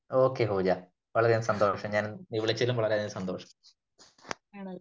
Okay Pooja . വളരെ അധികം സന്തോഷം . ഞാൻ വിളിച്ചതിലും വളരെ സന്തോഷം